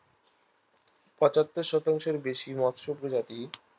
পচাত্তর শতাংশের বেশি মিশ্র প্রজাতি